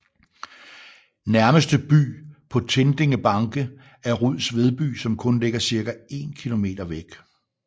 Nærmeste by på Tindingebanke er Ruds Vedby som kun ligger ca 1 km væk